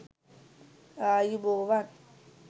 ආයුබෝවන්